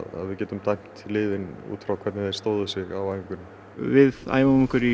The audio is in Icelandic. getum við dæmt liðin út frá því hvernig þau stóðu sig á æfingunni við æfum okkur í